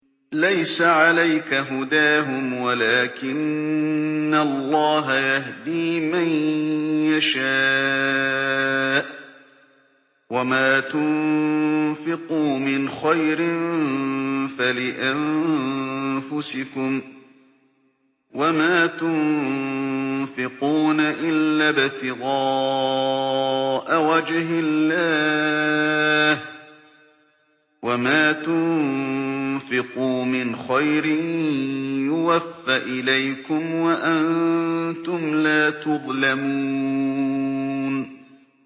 ۞ لَّيْسَ عَلَيْكَ هُدَاهُمْ وَلَٰكِنَّ اللَّهَ يَهْدِي مَن يَشَاءُ ۗ وَمَا تُنفِقُوا مِنْ خَيْرٍ فَلِأَنفُسِكُمْ ۚ وَمَا تُنفِقُونَ إِلَّا ابْتِغَاءَ وَجْهِ اللَّهِ ۚ وَمَا تُنفِقُوا مِنْ خَيْرٍ يُوَفَّ إِلَيْكُمْ وَأَنتُمْ لَا تُظْلَمُونَ